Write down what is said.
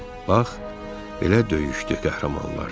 Bax, belə döyüşdü qəhrəmanlar.